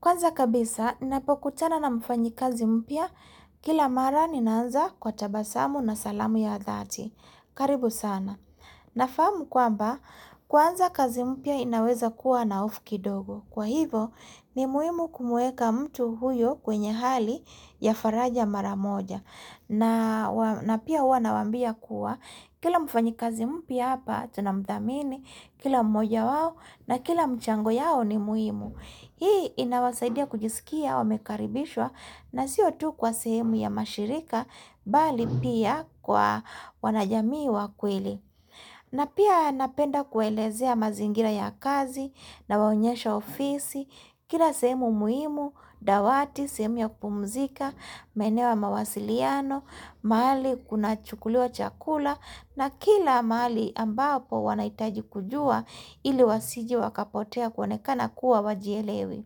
Kwanza kabisa, napokutana na mfanyi kazi mpya, kila mara ninaanza kwa tabasamu na salamu ya dhati. Karibu sana. Nafahamu kwamba, kwanza kazi mpya inaweza kuwa na hofu kidogo. Kwa hivo, ni muimu kumuweka mtu huyo kwenye hali ya faraja mara moja. Na pia huwa na wambia kuwa, kila mfanyi kazi mpya hapa, tunamdhamini, kila mmoja wao na kila mchango yao ni muimu. Hii inawasaidia kujisikia wamekaribishwa na siotu kwa sehemu ya mashirika bali pia kwa wanajamii wakweli. Na pia napenda kuelezea mazingira ya kazi na waonyesha ofisi, kila sehemu muhimu, dawati, sehemu ya kupumzika, maeneo ya mawasiliano, maali kuna chukulua chakula na kila maali ambapo wanaitaji kujua ili wasije wakapotea kuonekana kuwa wajielewi.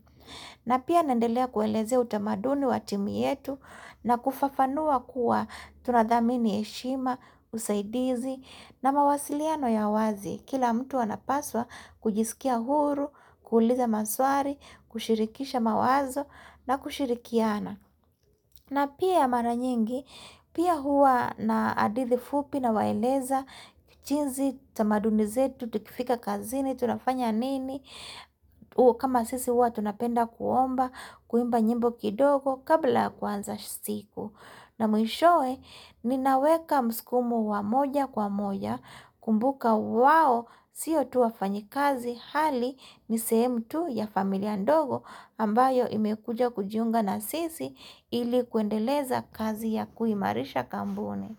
Na pia naendelea kuwaelezea utamaduni watimu yetu na kufafanua kuwa tunadhamini heshima, usaidizi na mawasiliano ya wazi. Kila mtu anapaswa kujisikia huru, kuhuliza maswari, kushirikisha mawazo na kushirikiana. Na pia ya mara nyingi, pia huwa na adithi fupi na waeleza, jinsi, tamadunize, tutukifika kazini, tunafanya nini, kama sisi huwa tunapenda kuomba, kuimba nyimbo kidogo kabla kuanza siku. Na mwishowe ninaweka mskumo wa moja kwa moja kumbuka wao siyo tuwa fanyi kazi hali ni sehemu tu ya familia ndogo ambayo imekuja kujiunga na sisi ilikuendeleza kazi ya kuimarisha kampuni.